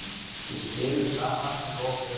Við spilum saman með lokuð augun.